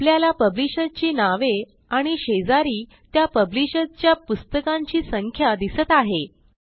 आपल्याला पब्लिशर ची नावे आणि शेजारी त्या पब्लिशर च्या पुस्तकांची संख्या दिसत आहे